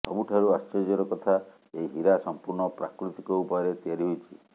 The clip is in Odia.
ସବୁଠାରୁ ଆଶ୍ଚର୍ଯ୍ୟର କଥା ଏହି ହୀରା ସମ୍ପୂର୍ଣ୍ଣ ପ୍ରାକୃତିକ ଉପାୟରେ ତିଆରି ହୋଇଛି